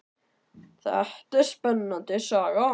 Þetta er spennandi saga.